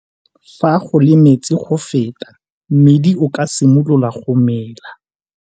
Fa go le metsi go feta mmidi o ka simolola go mela.